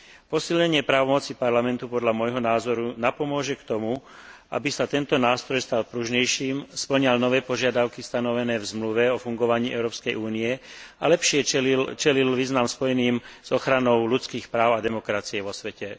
Posilnenie právomoci Parlamentu podľa môjho názoru napomôže tomu, aby sa tento nástroj stal pružnejším, spĺňal nové požiadavky stanovené v Zmluve o fungovaní Európskej únie a lepšie čelil výzvam spojeným s ochranou ľudských práv a demokracie vo svete.